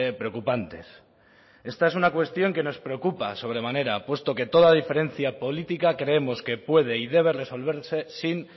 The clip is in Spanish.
preocupantes esta es una cuestión que nos preocupa sobremanera puesto que toda diferencia política creemos que puede y debe resolverse sin